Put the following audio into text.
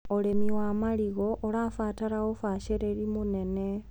ũrĩmi wa marigũ ũrabatara ũbacĩrĩru mũnene.